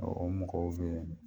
o mɔgɔw be yen